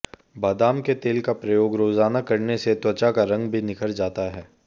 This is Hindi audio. बादाम के तेल का प्रयोग रोजाना करने से त्वचा का रंग भी निखर जाता है